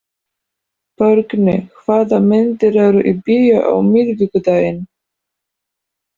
Borgný, hvaða myndir eru í bíó á miðvikudaginn?